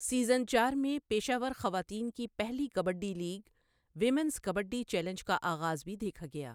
Season چار میں پیشہ ور خواتین کی پہلی kabaddi league, women's kabaddi challenge کا آغاز بھی دیکھا گیا۔